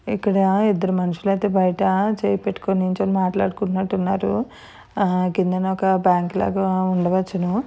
ఇక్కడ ఇద్దరు మనుషులు ఐతే బైటచేయి పెట్టుకొని నిల్చొని మాట్లాడినాడన్నట్టు ఉన్నారు ఆహా కిందన ఒక బ్యాంకు లాగా ఉండ వచ్చును.